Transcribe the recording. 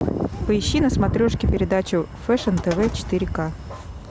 поищи на смотрешке передачу фэшн тв четыре ка